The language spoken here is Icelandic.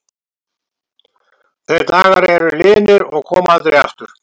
Þeir dagar eru liðnir og koma aldrei aftur.